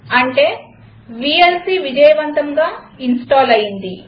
అంటే వీఎల్సీ విజయవంతంగా ఇన్స్టాల్ అయింది